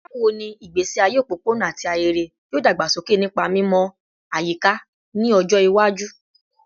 Bawo ni igbesi aye opopona ati ahere yoo dagbasoke nipa mimọ ayika ni ọjọ iwaju?